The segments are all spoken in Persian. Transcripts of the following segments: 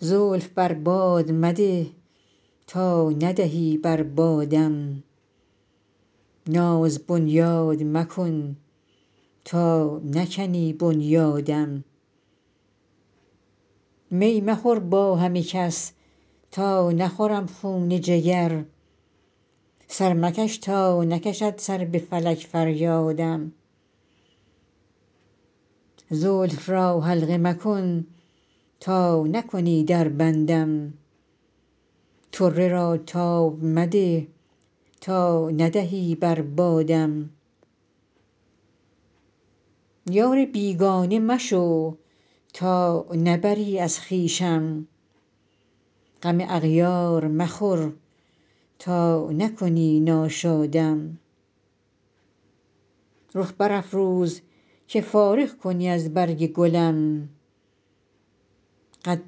زلف بر باد مده تا ندهی بر بادم ناز بنیاد مکن تا نکنی بنیادم می مخور با همه کس تا نخورم خون جگر سر مکش تا نکشد سر به فلک فریادم زلف را حلقه مکن تا نکنی در بندم طره را تاب مده تا ندهی بر بادم یار بیگانه مشو تا نبری از خویشم غم اغیار مخور تا نکنی ناشادم رخ برافروز که فارغ کنی از برگ گلم قد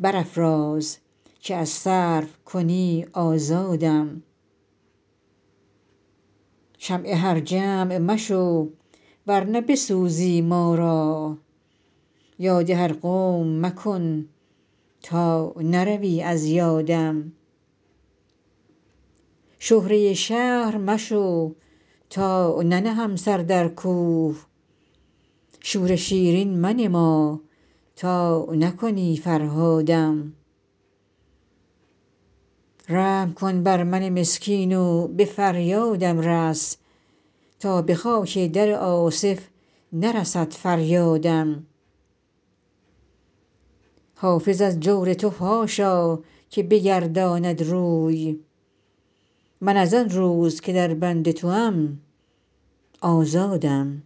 برافراز که از سرو کنی آزادم شمع هر جمع مشو ور نه بسوزی ما را یاد هر قوم مکن تا نروی از یادم شهره شهر مشو تا ننهم سر در کوه شور شیرین منما تا نکنی فرهادم رحم کن بر من مسکین و به فریادم رس تا به خاک در آصف نرسد فریادم حافظ از جور تو حاشا که بگرداند روی من از آن روز که در بند توام آزادم